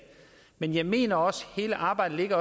men jeg mener også at hele arbejdet